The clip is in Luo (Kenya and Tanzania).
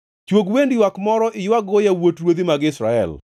“Chwog wend ywak moro mondo iywag-go yawuot ruodhi mag Israel,